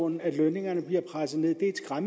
lønningerne ned